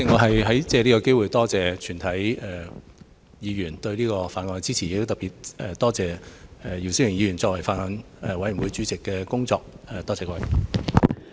代理主席，我藉此機會多謝全體議員支持《條例草案》，亦特別多謝姚思榮議員作為法案委員會主席所做的工作。